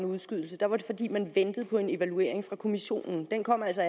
udskudt var det fordi man ventede på en evaluering fra kommissionen og den kom altså